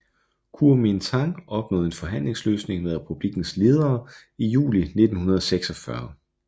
Kuomintang opnåede en forhandlingsløsning med republikkens ledere i juli 1946